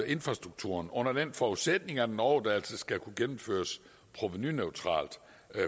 infrastrukturen under den forudsætning at en overdragelse skal kunne gennemføres provenuneutralt